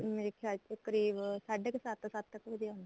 ਮੇਰੇ ਖਿਆਲ ਚ ਕਰੀਬ ਸਾਡੇ ਕੁ ਸੱਤ ਸੱਤ ਕ ਵਜੇ ਆਂਦਾ